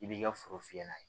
I b'i ka foro fiyɛ n'a ye